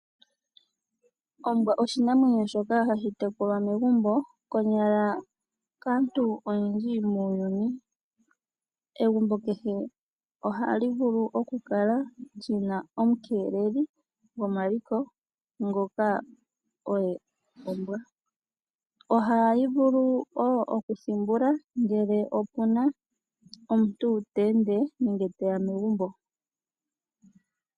Ombwa oshinamwenyo shoka hashi tekulwa megumbo konyala kaantu oyendji muuyuni. Egumbo kehe ohaki vulu okukala lyina omukeleli gomaliko ngoka oye mbwa. Ohayi vulu wo okuthimbula ngele opuna omuntu ta ende teya megumbo.